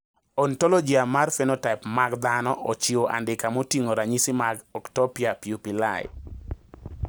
Ontologia mar phenotype mag dhano ochiwo andika moting`o ranyisi mag Ectopia pupillae.